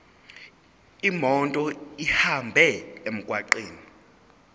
imoto ihambe emgwaqweni